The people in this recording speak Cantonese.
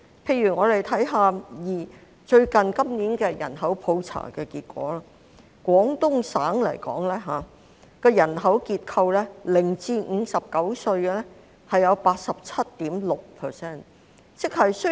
例如，我們看看今年的人口普查結果，廣東省的人口結構，零歲至59歲的佔 87.6%。